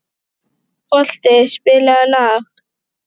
Holti, spilaðu lag.